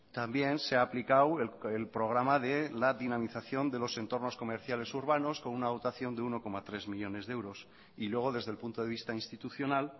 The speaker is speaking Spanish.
también se ha aplicado el programa de la dinamización de los entornos comerciales urbanos con una dotación de uno coma tres millónes de euros y luego desde el punto de vista institucional